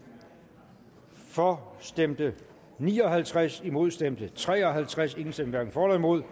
for stemte ni og halvtreds imod stemte tre og halvtreds hverken for eller imod